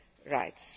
rights.